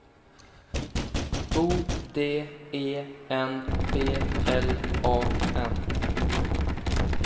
O D E N P L A N